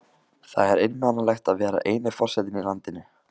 Það er einmanalegt að vera eini forsetinn í landinu.